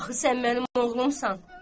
Axı sən mənim oğlumsan.